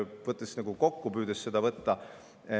Püüan seda kokku võtta.